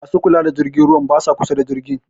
Ma su kula da jirgin ruwan ba sa kusa da jirgin.